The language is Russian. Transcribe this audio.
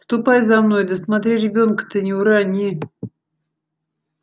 ступай за мной да смотри ребенка-то не урони